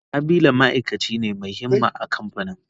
Habila ma'aikaci ne mai himma a kamfanin.